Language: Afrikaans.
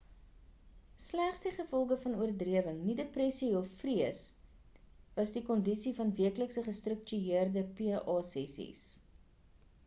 sleg die gevolge van oordrewing nie depressie of vrees was die kondisie van weeklikse gestruktueerde pa sessies